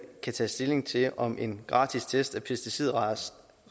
kan tage stilling til om en gratis test af pesticidrester